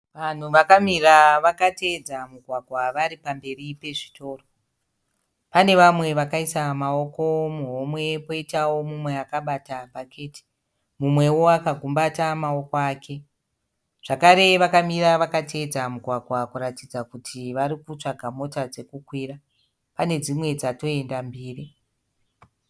Vanhu vakamira vakateedza mugwagwa vari pamberi pezvitoro. Pane vamwe vakaisa maoko muhomwe, koitawo mumwe akabata bhaketi, mumwewo akagumbata maoko ake, zvakare vakamira vakateedza mugwagwa kuratidza kuti varikutsvaga mota dzekukwira, pane dzimwe dzatoenda mbiri.